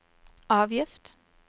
avgift